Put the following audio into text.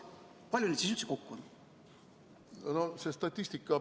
Kui palju neid siis üldse kokku on?